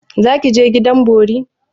Za ki je gidan bori?